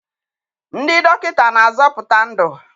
Ndị dọkịta na-azọpụta ndụ.